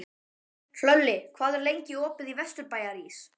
Hlölli, hvað er lengi opið í Vesturbæjarís?